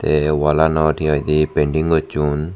ei wall anot he hoidi painting gocchun.